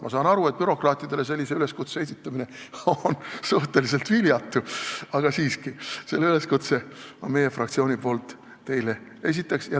Ma saan aru, et bürokraatidele sellise üleskutse esitamine on suhteliselt viljatu, aga siiski, selle üleskutse ma teile meie fraktsiooni nimel esitan.